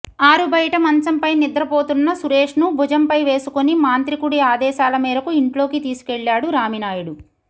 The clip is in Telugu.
ఆరుబయట మంచంపై నిద్రపోతున్న సురేష్ను భుజంపై వేసుకొని మాంత్రికుడి ఆదేశాల మేరకు ఇంట్లోకి తీసుకెళ్లేడు రామినాయుడు